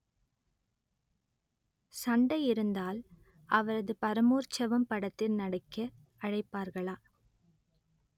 சண்டை இருந்தால் அவரது பரமோற்சவம் படத்தில் நடிக்க அழைப்பார்களா